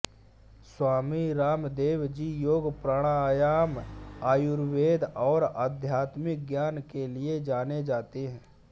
स्वामी रामदेव जी योग प्राणायामआयुर्वेद और आध्यात्मिक ज्ञान के लिए जाने जाते हैं